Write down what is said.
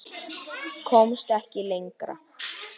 Komst ekki lengra.